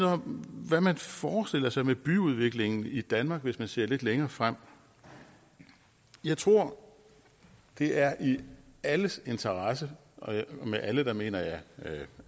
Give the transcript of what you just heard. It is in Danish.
om hvad man forestiller sig med byudviklingen i danmark hvis man ser lidt længere frem jeg tror det er i alles interesse og med alle mener jeg